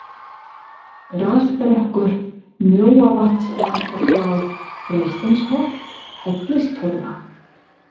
Grasbrekkur, Mjóavatnslækjarflá, Freysteinsholt, Hellistorfa